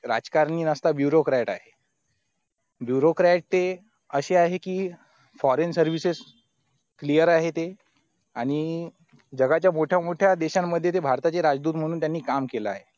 राजकारणी bureaukright आहे bureaukright ते अशे आहे की foreign services clear आहे ते आणि जगाच्या मोठ्या मोठ्या देशांमध्ये ते भारताचे राजदूत त्यांनी काम केलं आहे